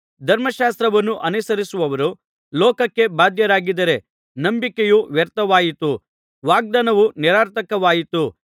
ಧರ್ಮಶಾಸ್ತ್ರವನ್ನು ಅನುಸರಿಸುವವರು ಲೋಕಕ್ಕೆ ಬಾಧ್ಯರಾಗಿದ್ದರೆ ನಂಬಿಕೆಯು ವ್ಯರ್ಥವಾಯಿತು ವಾಗ್ದಾನವು ನಿರರ್ಥಕವಾಯಿತು